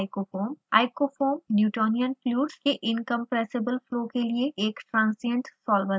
icofoam newtonian fluids के incompressible flow के लिए एक transient अस्थायी solver है